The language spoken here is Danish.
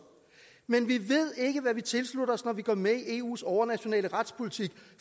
men vi ved ikke hvad vi tilslutter os når vi går med i eus overnationale retspolitik